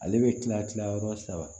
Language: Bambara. Ale bɛ tila tila yɔrɔ saba